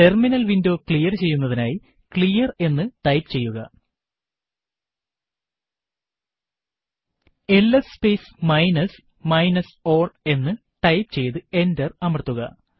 terminal window clear ചെയ്യുന്നതിനായി clear എന്ന് type ചെയ്യുക LS space minus minus all എന്ന് ടൈപ്പ് ചെയ്തു എന്റർ അമർത്തുക